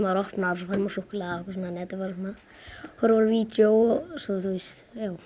opnar og fær súkkulaði þú horfir á vídeó og svo þú veist